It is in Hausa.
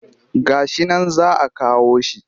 Ga shi nan za a kawo shi